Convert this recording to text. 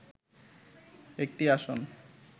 একটি আসন